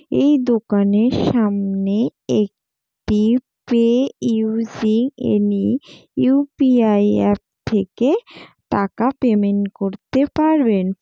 এই দোকানের সামনে একটি পে উ .সি .এন .ই. U .P .I. অ্যাপ থেকে টাকা পেমেন্ট করতে পারবেন।